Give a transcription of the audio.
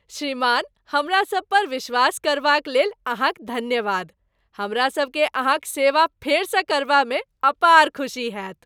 श्रीमान हमरा सबपर विश्वास करबाक लेल अहाँक धन्यवाद। हमरा सभकेँ अहाँक सेवा फेरसँ करबामे अपार खुशी होयत।